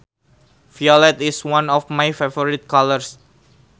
Violet is one of my favorite colors